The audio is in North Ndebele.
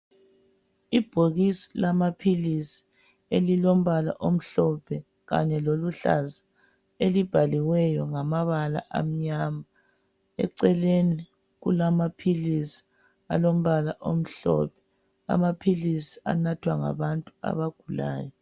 Ibhokisi lamaphilisi elilombala omhlophe kanye loluhlaza elibhaliweyo ngamabala amnyama eceleni kulamaphilisi alombala omhlophe amaphilisi anathwa ngabantu abagulayo.